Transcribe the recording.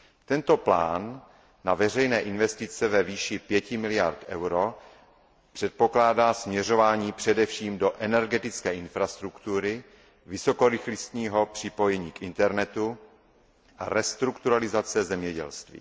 Tento plán na veřejné investice ve výši 5 miliard EUR předpokládá směřování především do energetické infrastruktury, vysokorychlostního připojení k internetu, restrukturalizace zemědělství.